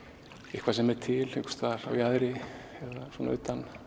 eitthvað sem er til á jaðri eða utan